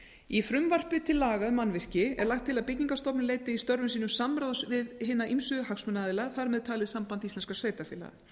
í frumvarpi til laga um mannvirki er lagt til að byggingarstofnun leiti í störfum sínum samráðs við hina ýmsu hagsmunaaðila þar með talið samband íslenskra sveitarfélaga